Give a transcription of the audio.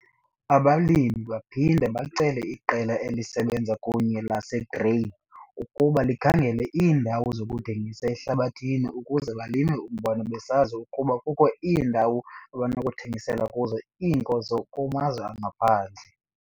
Abalimi baphinde bacele iqela elisebenza kunye laseGrain ukuba likhangele iindawo zokuthengisa ehlabathini ukuze balime umbona besazi ukuba kukho iindawo abanokuthengisela kuzo iinkozo kumazwe angaphandle.